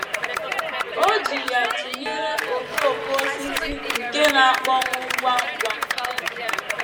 O ji ya tụnyere okooko osisi nke na - akpọnwụ ngwa ngwa.